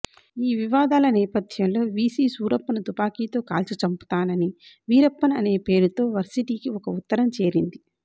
ఈ వివాదాల నేపథ్యంలో వీసీ సూరప్పను తుపాకీతో కాల్చి చంపుతానని వీరప్పన్ అనే పేరుతో వర్సిటీకి ఒక ఉత్తరం చేరింది